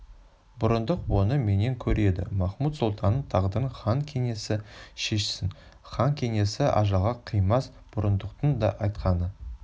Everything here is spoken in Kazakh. бұрындық оны менен көреді махмуд-сұлтанның тағдырын хан кеңесі шешсін хан кеңесі ажалға қимас бұрындықтың да айтқаны